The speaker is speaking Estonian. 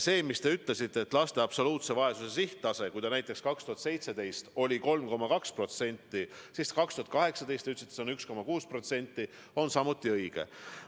See, mida te ütlesite laste absoluutse vaesuse näitajate kohta – see näiteks 2017. aastal oli 3,2% ja 2018. aastal, nagu te ütlesite, 1,6% –, on samuti õige.